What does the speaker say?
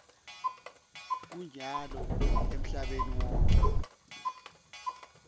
kunyalo emhlabeni wonkhe